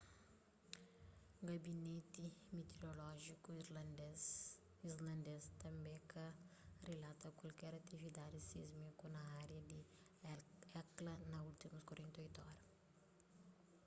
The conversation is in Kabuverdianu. gabineti mitiorolójiku islandês tanbê ka rilata kualker atividadi sismiku na ária di hekla na últimus 48 ora